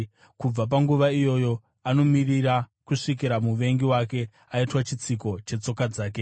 Kubva panguva iyoyo anomirira kusvikira muvengi wake aitwa chitsiko chetsoka dzake,